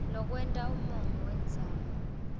lokwenta umongo wendzaba